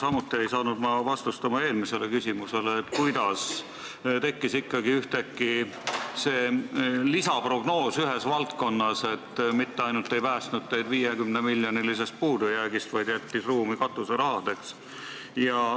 Samuti ei saanud mina vastust oma eelmisele küsimusele, kuidas tekkis ikkagi ühtäkki ühes valdkonnas see lisaprognoos, mis mitte ainult ei päästnud teid 50-miljonilisest puudujäägist, vaid jättis ka võimaluse katuseraha maksta.